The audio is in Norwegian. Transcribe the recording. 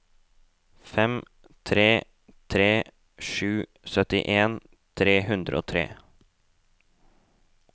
fem tre tre sju syttien tre hundre og tre